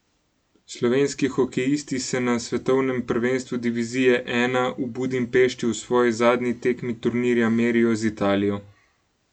Slovenski hokejisti se na svetovnem prvenstvu divizije I v Budimpešti v svoji zadnji tekmi turnirja merijo z Italijo.